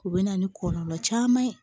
U bɛ na ni kɔlɔlɔ caman ye